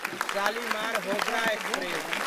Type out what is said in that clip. Shalimar Howrah express